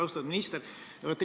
Austatud minister!